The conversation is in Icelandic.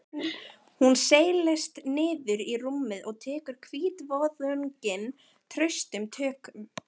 Hún seilist niður í rúmið og tekur hvítvoðunginn traustum tökum.